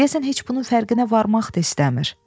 Deyəsən heç bunun fərqinə varmaq da istəmir.